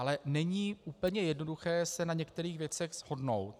Ale není úplně jednoduché se na některých věcech shodnout.